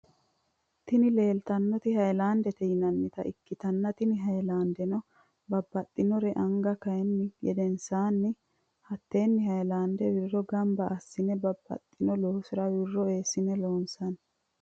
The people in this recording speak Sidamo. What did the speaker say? Tini lelitanoti hayilanidete yinanita ikitana tini hayilandeno babaxitinore ange kanihu gedeninsanni hatene hayilande wiro ganiba asine babaxino loosira wirro esine loonisanni.